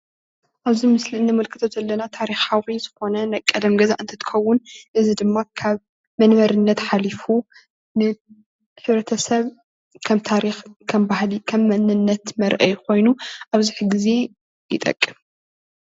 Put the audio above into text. ኣብዚ ምስሊ ዝንምልከቶ ዘለና ታሪካዊ ዝኮነ ናይ ቀደም ገዛ እትትከውን እዚ ድማ ካብ መንበሪነት ሓሊፉ ንሕብረተሰብ ከም ታሪክ ከም ባህሊ ከም መንነት መርአይ ኮይኑ ኣብዚ ሕዚ ግዜ ይጠቅም፡፡